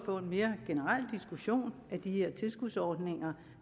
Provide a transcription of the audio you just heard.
få en mere generel diskussion af de tilskudsordninger